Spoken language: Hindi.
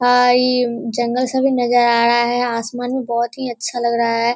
भाई जंगल सभी नजर आ रहा है आसमान में बहुत ही अच्छा लग रहा है।